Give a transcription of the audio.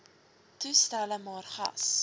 toestelle maar gas